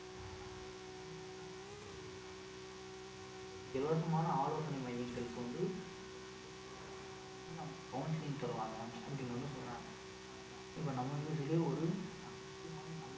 ஆஹ் இது சம்பந்தமான தற்கொலைக்கு எதிரான இலவசமான ஆலோசனை மையங்களுக்கு வந்து இது வந்து போகும் அவங்க வந்து நமக்கு counselling தருவாங்க அப்படின்னு வந்து சொல்றாங்க பாருங்களே இப்ப நம்ம news லயே ஆஹ் ஒரு முக்கியமான நல்ல